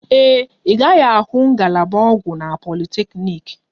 Ee e, ị gaghị ahụ ngalaba ọgwụ na politeknik